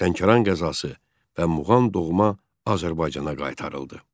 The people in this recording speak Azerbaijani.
Lənkəran qəzası və Muğan doğma Azərbaycana qaytarıldı.